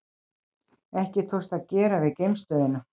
Ekki tókst að gera við geimstöðina